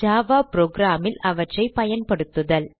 Java program ல் அவற்றை பயன்படுத்துதல்